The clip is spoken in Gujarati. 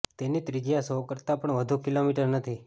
તેની ત્રિજ્યા સો કરતાં પણ વધુ કિલોમીટર નથી